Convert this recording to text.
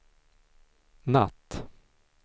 natt